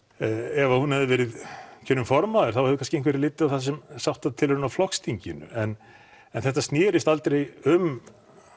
ef að hún hefði verið kjörin formaður þá hefði kannski einhver litið á það sem sáttatilraun á flokksþinginu en en þetta snerist aldrei um